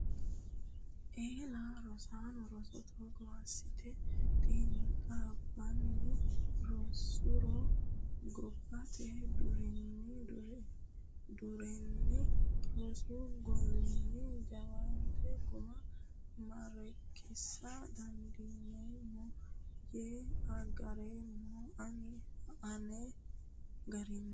Eella rosaano roso togo assite xiinxabbanni rosuro gobbate deerrinni rosu golini jawaata guma maareekkisa dandiineemmo yee agareemmo ani ane garinni.